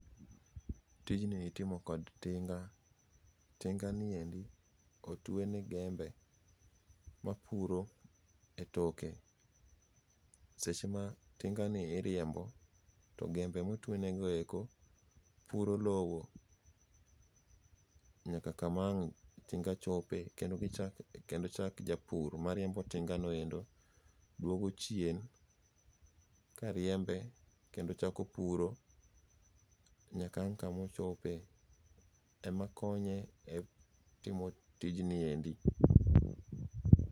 Tijni itimo kod tinga', tinga'ni endi otwene jembe mapuro e toke, seche ma tinga'ni iriembo to jembe ma otwenego eko puro lowo nyaka kama ang' tinga' chopie kendo chak japur mariembo tinga'noeko duogo chien kariembe kendo chako puro nyaka kama ang kama ochopie emakonye e timo tijniendi.